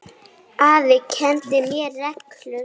Afi kenndi mér reglu.